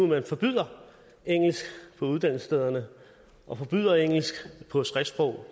nu forbyder engelsk på uddannelsesstederne og forbyder engelsk på skriftsprog